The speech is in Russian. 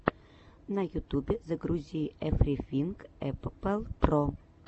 на ютубе загрузи эврифинг эппл про